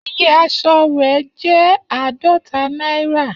Iye asọ re jẹ aadọta naira.